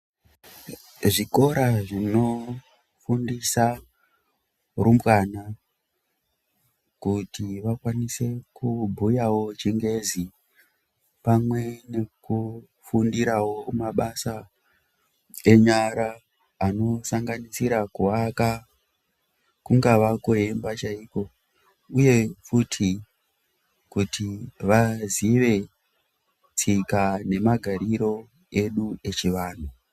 Zvikora zvinofundisa rumbwana kuti vakwanise kubhuyawo chingezi pamwe nekufundirawo mabasa eyara anosanganisira kuvaka, kungava kweimba chaiko uye futi kuti vazive tsika nemagarire edu echivanhu.